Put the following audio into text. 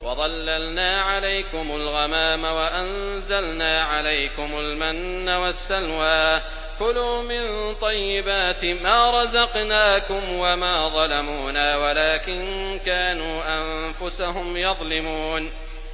وَظَلَّلْنَا عَلَيْكُمُ الْغَمَامَ وَأَنزَلْنَا عَلَيْكُمُ الْمَنَّ وَالسَّلْوَىٰ ۖ كُلُوا مِن طَيِّبَاتِ مَا رَزَقْنَاكُمْ ۖ وَمَا ظَلَمُونَا وَلَٰكِن كَانُوا أَنفُسَهُمْ يَظْلِمُونَ